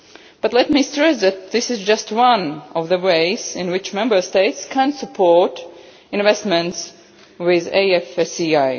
But let me stress that this is just one of the ways in which Member States can support investment with the EFSI.